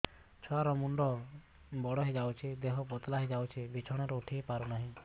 ଛୁଆ ର ମୁଣ୍ଡ ବଡ ହୋଇଯାଉଛି ଦେହ ପତଳା ହୋଇଯାଉଛି ବିଛଣାରୁ ଉଠି ପାରୁନାହିଁ